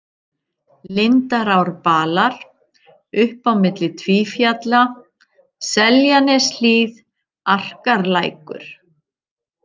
Lindarárbalar, Upp á milli Tvífjalla, Seljaneshlíð, Arkarlækur